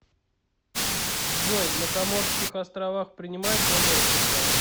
джой на коморских островах принимают доллары сша